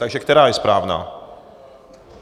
Takže která je správná?